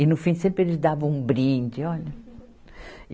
E, no fim, sempre eles davam um brinde. Olha